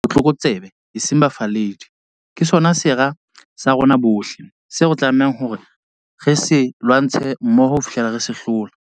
Botlokotsebe, eseng bafalledi, ke sona sera sa rona bohle, seo re tlamehang ho se lwantsha mmoho ho fihlela re se hlola.